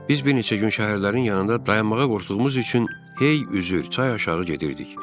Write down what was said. Biz bir neçə gün şəhərlərin yanında dayanmağa qorxduğumuz üçün hey üzür, çay aşağı gedirdik.